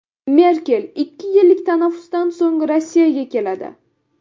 Merkel ikki yillik tanaffusdan so‘ng Rossiyaga keladi.